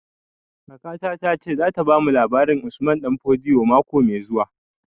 Kakata ta ce za ta bamu labarin Usman Danfodio mako mai zuwa